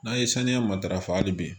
N'an ye saniya matarafa hali bi